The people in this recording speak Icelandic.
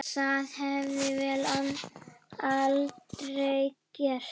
Það hefði vél aldrei gert.